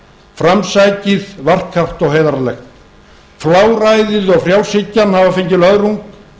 framsækið varkárt og heiðarlegt fláræðið og frjálshyggjan hafa fengið löðrung